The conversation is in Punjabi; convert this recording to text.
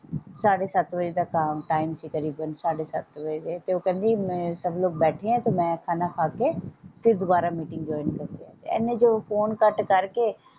ਸਾਡੇ ਸੱਤ ਵਜੇ ਤੱਕ ਆਮ ਟਾਈਮ ਤਕਰੀਬਨ ਸਾਢੇ ਸੱਤ ਵਜੇ ਕਹਿੰਦੀ ਸਬ ਲੋਕ ਬੈਠੇ ਹੈ ਤੇ ਮੈਂ ਖਾਣਾ ਖਾ ਕੇ ਫੇਰ ਦੋਬਾਰਾ ਮੀਟਿੰਗ ਜੋਇਨ ਇੰਨੇ ਚ ਉਹ ਫੋਨ ਕੱਟ ਕਰਕੇ।